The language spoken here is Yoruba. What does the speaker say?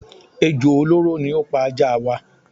Ejò olóró ni ó pa ajá waa.